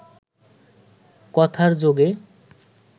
কথার যোগে